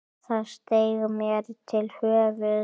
Það steig mér til höfuðs.